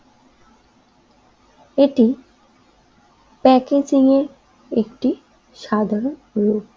এটি প্যাকেজিং এর একটি সাধারণ রূপ।